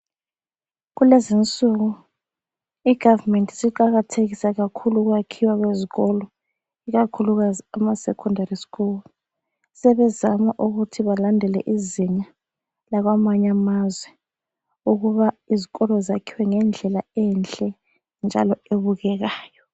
Kulezinsuku igavumenti siqakathekisa kakhulu ukwakhiwa kwezikolo, ikakhulukazi ama sekhondari skulu sebezama ukuthi balandele izinga lakwamanye amazwe, ukuba izikolo zakhiwe ngendlela enhle njalo ebukekayo.